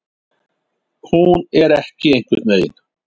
Hún er ekki einhvern veginn.